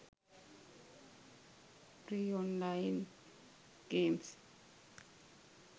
free online games